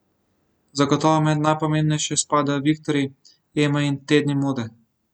Zagotovo med najpomembnejše spadajo Viktorji, Ema in tedni mode.